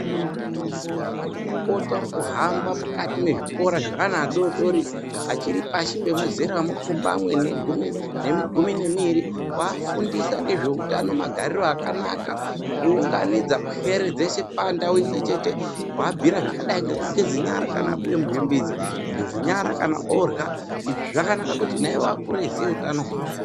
Anamukoti arikuhamba mukati mezvikora zveana adodori achiri pashi pemuzera mupfumbamwe nemugumi nemiiri kufundisa ngezveutano magariro akanaka kuunganidza pwere dzeshe pandau imwechete kuabhiira zvakadai ngekugeze nyara kana abide muzvimbizi, kugeze nyara kana orya izvi zvakanaka kuti naiwo Akure eiziyawo utano hwawo.